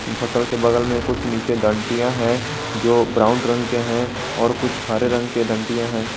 फसल के बगल में कुछ नीचे डंटिया हैं जो ब्राउन रंग के हैं और कुछ हरे रंग के डंटियाँ हैं।